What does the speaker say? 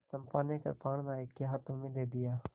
चंपा ने कृपाण नायक के हाथ में दे दिया